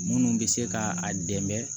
Minnu bɛ se ka a dɛmɛ